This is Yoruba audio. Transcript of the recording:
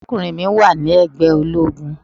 Arákùnrin mi wà ní ègbé ológun.